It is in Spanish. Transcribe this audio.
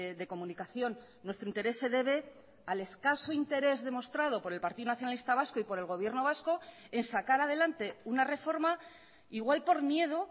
de comunicación nuestro interés se debe al escaso interés demostrado por el partido nacionalista vasco y por el gobierno vasco en sacar adelante una reforma igual por miedo